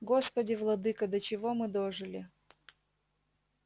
господи владыко до чего мы дожили